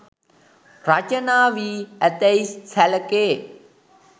රචනා වී ඇතැයි සැලකේ.